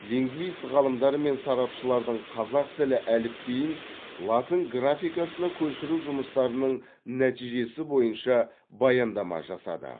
лингвист ғалымдар мен сарапшылардың қазақ тілі әліпбиін латын графикасына көшіру жұмыстарының нәтижесі бойынша баяндама жасады